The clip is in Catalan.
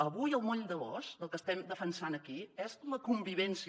avui el moll de l’os del que estem defensant aquí és la convivència